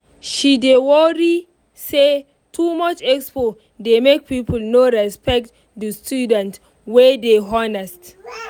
she dey worry say too much expo dey make people no respect the students wey dey honest.